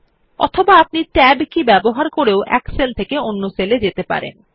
অথবা আপনি Tab কি টিপে এক সেল থেকে অন্য সেল এ যেতে পারেন